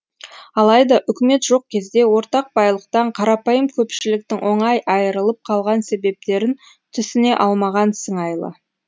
алайда үкімет жоқ кезде ортақ байлықтан қарапайым көпшіліктің оңай айырылып қалған себептерін түсіне алмаған сыңайлы